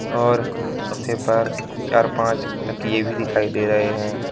और सोफे पर चार पांच तकिये भी दिखाई दे रहे हैं।